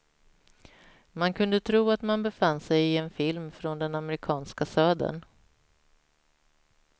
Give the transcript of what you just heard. Man kunde tro att man befann sig i en film från den amerikanska södern.